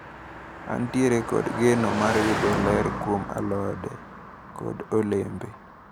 Antiere kod geno mar yudo ler kuom alode kod olembe.